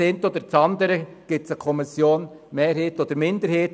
Zum einen oder anderen Punkt besteht eine Kommissionsminderheit;